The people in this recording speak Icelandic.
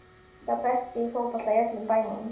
Sá besti í fótbolta í öllum bænum.